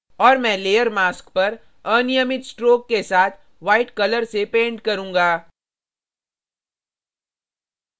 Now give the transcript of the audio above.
और मैं layer mask पर अनियमित strokes के साथ white कलर से paint करूँगा